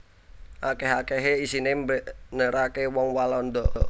Akèh akèhé isiné mbeneraké wong Walanda